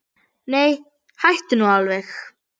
Nei, hættu nú alveg!